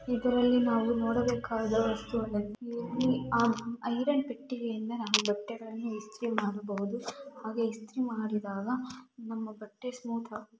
ಇದರಲ್ಲಿ ನಾವು ನೋಡಬೇಕಾದ ವಸ್ತುಗಳೆಂದರೆ ಇಲ್ಲಿ ಆಹ್ಹ್ ಐರನ್ ಪೆಟ್ಟಿಗೆಯಿಂದ ನಾವು ಬಟ್ಟೆಗಳನ್ನು ಇಸ್ತ್ರಿ ಮಾಡಬಹುದು ಹಾಗೆ ಇಸ್ತ್ರಿ ಮಾಡಿದಾಗ ನಮ್ಮ ಬಟ್ಟೆ ಸ್ಮೂತ್ --